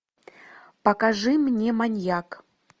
покажи мне маньяк